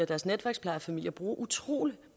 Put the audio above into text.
deres netværksplejefamilier bruger utrolig